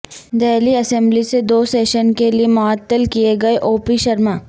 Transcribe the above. Delhi assembly سے دو session کے لئے معطل کئے گئے اوپی شرما